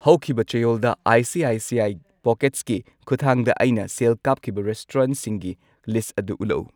ꯍꯧꯈꯤꯕ ꯆꯌꯣꯜꯗ I C I C I ꯄꯣꯀꯦꯠꯁꯀꯤ ꯈꯨꯊꯥꯡꯗ ꯑꯩꯅ ꯁꯦꯜ ꯀꯥꯞꯈꯤꯕ ꯔꯦꯁꯇꯨꯔꯦꯟꯠꯁꯤꯡꯒꯤ ꯂꯤꯁꯠ ꯑꯗꯨ ꯎꯠꯂꯛꯎ ꯫